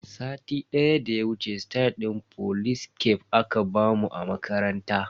Satin da ya wuce stayal din folis caf aka bamu a makaranta.